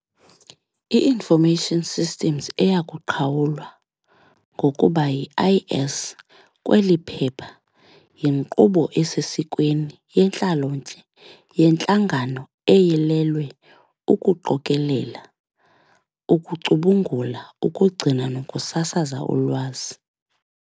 I Information System eya kuqhawulwa ngokuba yi-IS kweliphepha yinkqubo esesikweni, yentlalontle, yentlangano eyilelwe ukuqokelela, ukucubungula, ukugcina nokusasaza ulwazi.